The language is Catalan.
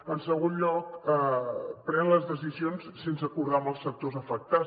en segon lloc pren les decisions sense acordar les amb els sectors afectats